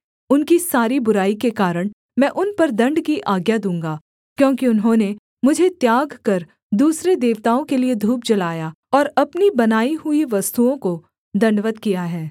उनकी सारी बुराई के कारण मैं उन पर दण्ड की आज्ञा दूँगा क्योंकि उन्होंने मुझे त्याग कर दूसरे देवताओं के लिये धूप जलाया और अपनी बनाई हुई वस्तुओं को दण्डवत् किया है